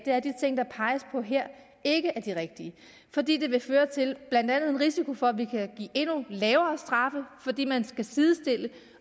er at de ting der peges på her ikke er de rigtige fordi det vil føre til blandt andet en risiko for at vi kan give endnu lavere straffe fordi man skal sidestille